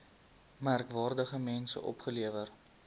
merkwaardige mense opgelewer